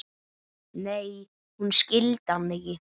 Nei, hún skildi hann ekki.